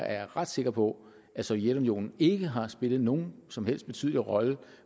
er ret sikker på at sovjetunionen ikke har spillet nogen som helst betydelig rolle i